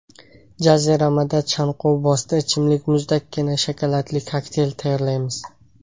Jaziramada chanqovbosdi ichimlik muzdekkina shokoladli kokteyl tayyorlaymiz!.